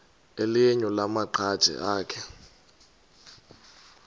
elinye lamaqhaji akhe